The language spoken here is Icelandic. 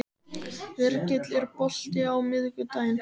Virgill, er bolti á miðvikudaginn?